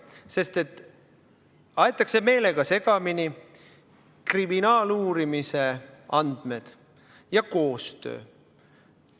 Meelega aetakse segamini kriminaaluurimise andmed ja koostöö.